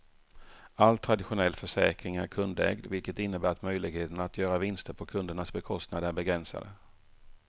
All traditionell försäkring är kundägd vilket innebär att möjligheterna att göra vinster på kundernas bekostnad är begränsade.